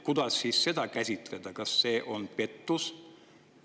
Kuidas siis seda käsitleda, kas see on pettus?